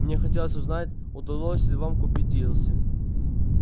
мне хотелось узнать удалось ли вам купить дилси